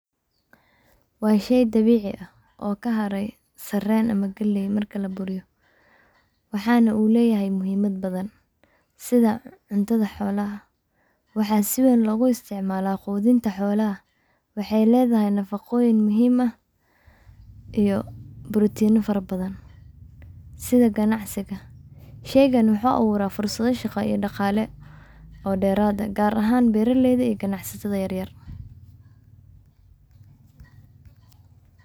Waa shey dabici ah oo kaharay sareen ama galey markii la buriyo waxana u leyahay muhiimad badan, sida cuntada xolaha, waxa si weyn logu isticmaala qudunta xolaha, waxay ledahay nafaqooyin muhiim ah iyo brotino fara badan, sida ganacsiga, sheygan muxuu abuura fursada shaqa iyo dhaqale oo dheraade ,gar ahan beeralada iyo ganacsatada yar yar